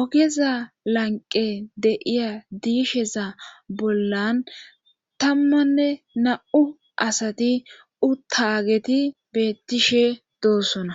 ogeza lanqe de'iya diisheza bollan tammanne na7u asati utaageti beettishe doossona